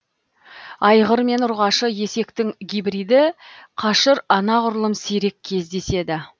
айғыр мен ұрғашы есектің гибриді қашыр анағұрлым сирек кездеседі